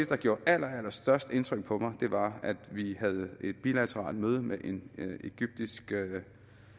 der gjorde allerallerstørst indtryk på mig var at vi havde et bilateralt møde med en kvindelig egyptisk